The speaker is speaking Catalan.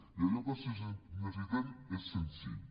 i allò que necessitem és senzill